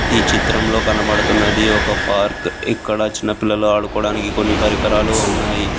ఈ చిత్రంలో కనబడుతున్నది ఒక పార్క్ ఇక్కడ చిన్న పిల్లలు ఆడుకోవడానికి కొన్ని పరికరాలు ఉన్నాయి.